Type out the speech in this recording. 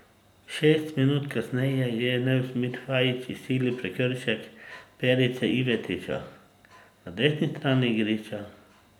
Šest minut kasneje je Nusmir Fajič izsilil prekršek Perice Ivetića na desni strani igrišča.